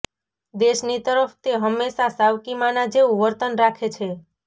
દેશની તરફ તે હંમેશા સાવકી માના જેવું વર્તન રાખે છે